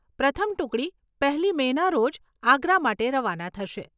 પ્રથમ ટુકડી પહેલી મેના રોજ આગ્રા માટે રવાના થશે.